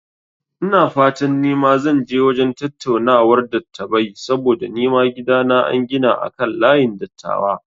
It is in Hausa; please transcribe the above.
Ina fata nima zan je wajen tattaunawar dattabai saboda nima gidana an gina akan layin dattawa